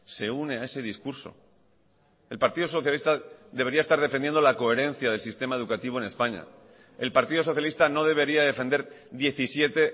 se une a ese discurso el partido socialista debería estar defendiendo la coherencia del sistema educativo en españa el partido socialista no debería defender diecisiete